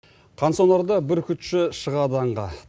қан сонарда бүркітші шығады аңға